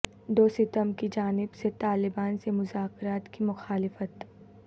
دوستم کی جانب سے طالبان سے مذاکرات کی مخالفت